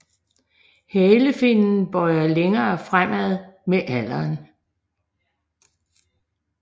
Halefinnen bøjer længere fremad med alderen